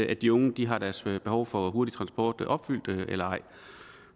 at de unge har deres behov for hurtig transport opfyldt eller ej